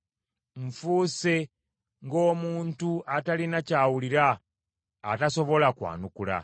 Nfuuse ng’omuntu atalina ky’awulira, atasobola kwanukula.